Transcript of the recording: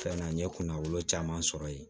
Fɛn na n ye kunnafoni caman sɔrɔ ye